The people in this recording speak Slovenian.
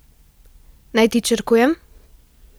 Naj ti črkujem?